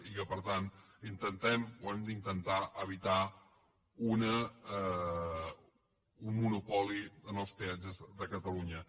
i que per tant intentem o hem d’intentar evitar un monopoli en els peatges de catalunya